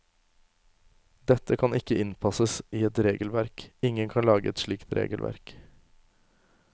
Dette kan ikke innpasses i et regelverk, ingen kan lage et slikt regelverk.